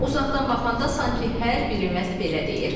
Uzaqdan baxanda sanki hər biri məhz belə deyir.